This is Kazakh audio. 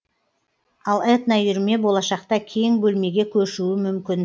ал этноүйірме болашақта кең бөлмеге көшуі мүмкін